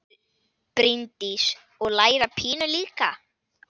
Bryndís: Og læra pínu líka?